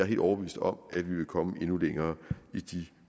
helt overbevist om at vi vil komme endnu længere i de